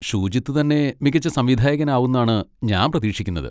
ഷൂജിത് തന്നെ മികച്ച സംവിധായകൻ ആവുംന്നാണ് ഞാൻ പ്രതീക്ഷിക്കുന്നത്.